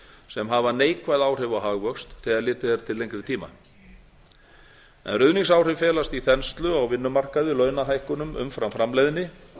sem hafa neikvæð áhrif á hagvöxt þegar litið er til lengri tíma ef ruðningsáhrifin felast í þenslu á vinnumarkaði launahækkunum umfram framleiðni